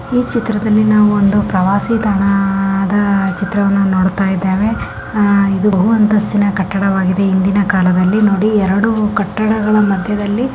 ಈ ಚಿತ್ರದಲ್ಲಿ ನಾವು ಒಂದು ಪ್ರವಾಸಿ ಸ್ಥಾನ ಆದ ಚಿತ್ರವನ್ನಾ ನೋಡತಾ ಇದ್ದೇವೆ ಅಹ್ ಇದು ಬಹು ಅಂತಸ್ತಿನಾ ಕಟ್ಟದ ವಾಗಿದೆ ಇಂದಿನ ಕಾಲದಲ್ಲಿ ನೋಡಿ ಎರಡು ಕಟ್ಟಗಳ ಮಧ್ಯದಲ್ಲಿ --